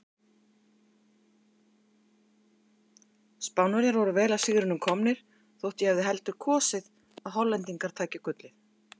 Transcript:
Spánverjar voru vel að sigrinum komnir þótt ég hefði heldur kosið að Hollendingar tækju gullið.